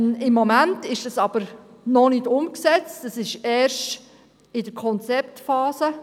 Im Moment ist sie jedoch noch nicht umgesetzt, sie befindet sich erst in der Konzeptphase.